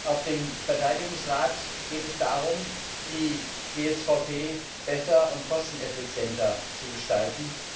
Auf dem Verteidigungsrat geht es darum, die GSVP besser und kosteneffizienter zu gestalten.